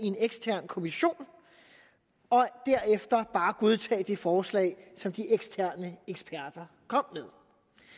en ekstern kommission og derefter bare godtage det forslag som de eksterne eksperter kom med